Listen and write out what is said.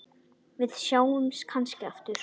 Við sjáumst kannski aftur.